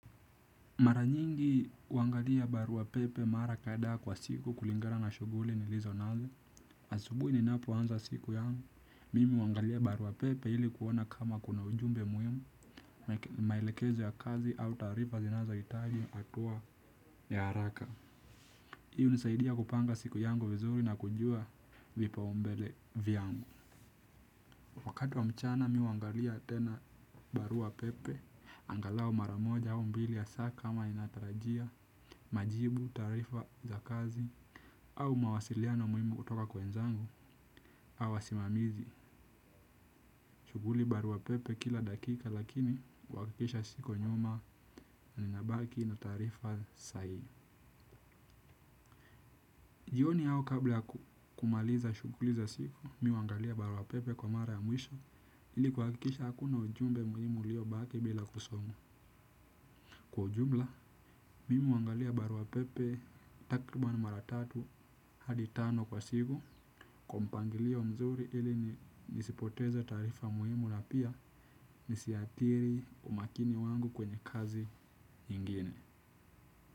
Mara nyingi huangalia barua pepe mara kadhaa kwa siku kulingana na shuguli nilizo nazo. Asubuhi ninapoanza siku yangu. Mimi huangalia barua pepe ili kuona kama kuna ujumbe muhimu. Maelekezo ya kazi au taarifa zinazohitaji hatua ya haraka. Hiu hunisaidia kupanga siku yangu vizuri na kujua vipaumbele vyangu. Wakati wa mchana mi huangalia tena barua pepe. Angalau mara moja au mbili ya saa kama inatarajia majibu tarifa za kazi. Au mawasiliano muhimu kutoka kwa wenzangu au wasimamizi shuguli barua pepe kila dakika lakini huhakikisha siko nyuma. Ninabaki na taarifa sahihi. Jioni au kabla ya kumaliza shuguli za siku mi huangalia barua pepe kwa mara ya mwisho ili kuhakikisha hakuna ujumbe uliobaki bila kusomwa. Kwa ujumla, mimi huangalia barua pepe takriban mara tatu hadi tano kwa siku kwa mpangilio mzuri ili nisipoteza taarifa muhimu na pia nisiathiri umakini wangu kwenye kazi nyingine.